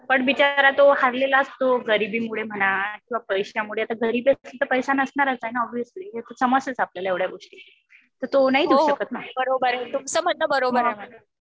पण बिचारा तो हारलेला असतो. गरिबीमुळे म्हणा किंवा पैशामुळे. आता गरिबी असेल तर पैसे नसणारच ना ओबियसली. हे तर समजतेच आपल्याला एवढ्या गोष्टी. तर तो नाही देऊ शकत ना.